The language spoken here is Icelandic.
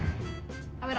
að vera